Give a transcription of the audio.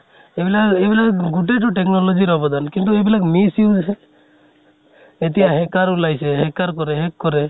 এইবিলাক এইবিলাক গোটেইতো technology ৰ অৱদান, কিন্তু এইবিলাক miss use, এতিয়া hacker ওলাইছে, hacker কৰে, hack কৰে।